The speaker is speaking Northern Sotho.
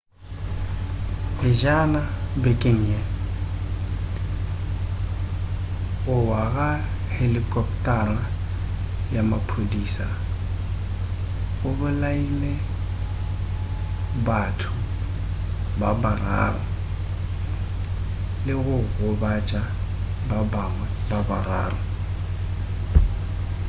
pejana bekeng ye go wa ga helikoptara ya maphodisa go bolaile batho ba bararo le go gobatša ba bangwe ba bararo